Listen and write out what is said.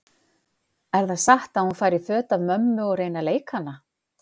Er það satt að hún fari í föt af mömmu og reyni að leika hana?